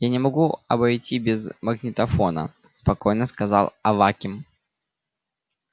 я не могу обойти без магнитофона спокойно сказал аваким